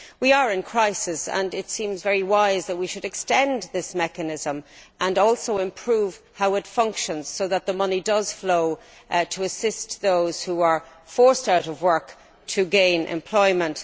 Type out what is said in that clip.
We are in crisis, and it seems very wise that we should extend this mechanism and also improve the way it functions so that the money flows to assist those who are forced out of work to gain employment.